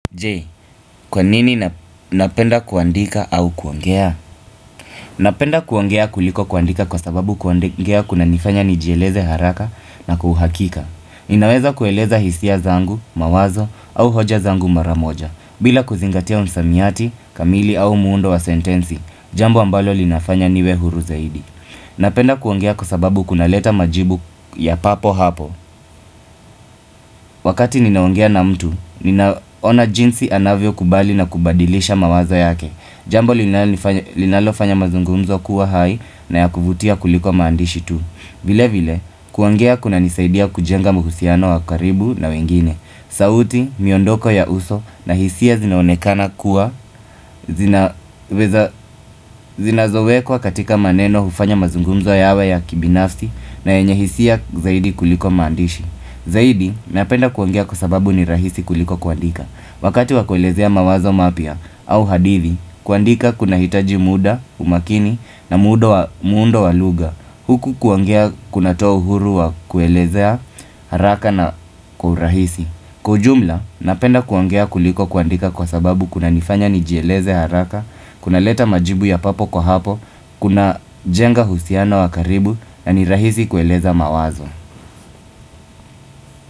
Je, kwa nini napenda kuandika au kuongea? Napenda kuongea kuliko kuandika kwa sababu kuongea kunanifanya nijieleze haraka na kuhakika. Ninaweza kueleza hisia zangu, mawazo au hoja zangu mara moja. Bila kuzingatia msamiati, kamili au muundo wa sentensi, jambo ambalo linafanya niwe huru zaidi. Napenda kuongea kwa sababu kunaleta majibu ya papo hapo. Wakati ninaongea na mtu, ninaona jinsi anavyo kubali na kubadilisha mawazo yake Jambo linalofanya mazungumzo kuwa hai na ya kuvutia kuliko maandishi tu vile vile, kuongea kunanisaidia kujenga muhusiano wa karibu na wengine sauti, miondoko ya uso na hisia zinaonekana kuwa zina zowekwa katika maneno hufanya mazungumzo yawe ya kibinafsi na yenye hisia zaidi kuliko maandishi Zaidi, napenda kuongea kwa sababu ni rahisi kuliko kuandika Wakati wakuelezea mawazo mapia au hadithi kuandika kunahitaji muda, umakini na muundo wa lugha Huku kuongea kunatoa uhuru wa kuelezea haraka na kuhurahisi Kujumla, napenda kuongea kuliko kuandika kwa sababu kuna nifanya nijieleze haraka kunaleta majibu ya papo kwa hapo Kuna jenga husiano wa karibu na ni rahisi kuelezea mawazo.